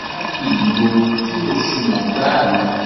málákì ni ohun tí kò sunwọn gbáà ni